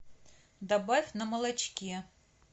добавь на молочке